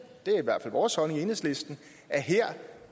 det er i hvert fald vores holdning i enhedslisten at